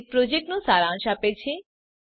તે પ્રોજેક્ટનો સારાંશ આપે છે